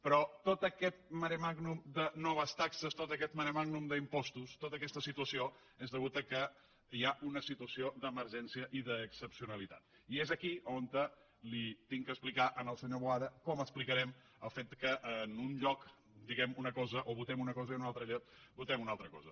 però tot aquest maremàgnum de noves taxes tot aquest maremàgnum d’impostos tota aquesta situació són deguts al fet que hi ha una situació d’emergència i d’excepcionalitat i és aquí on li he d’explicar al senyor boada com explicarem el fet que en un lloc diguem una cosa o votem una cosa i en un altre lloc votem una altra cosa